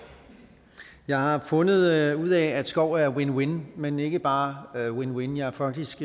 jeg har fundet ud af at skov er win win men ikke bare win win jeg er faktisk